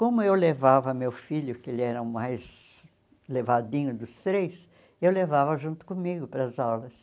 Como eu levava meu filho, que ele era o mais levadinho dos três, eu levava junto comigo para as aulas.